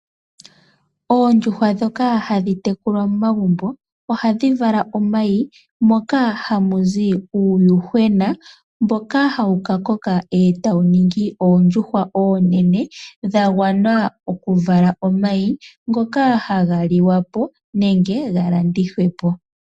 Oondjuhwa dhoka hadhi tekulwa momagumbo ohadhi vala omayi moka hamuzi uuyuhwena. Mboka hawu ka koka etawu ningi oondjuhwa oonene dha gwana oku vala omayi ngoka haga liwapo nenge ga landithwepo.